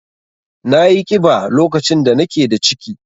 Nayi ƙiba lokacin da nake da ciki.